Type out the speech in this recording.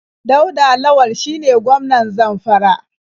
Dauda Lawal shine gwmanan Zamfara.